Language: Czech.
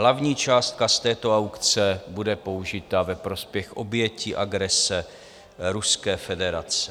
Hlavní částka z této aukce bude použita ve prospěch obětí agrese Ruské federace.